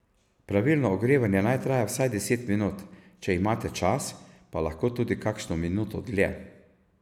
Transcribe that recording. Pravilno ogrevanje naj traja vsaj deset minut, če imate čas, pa lahko tudi kakšno minuto dlje.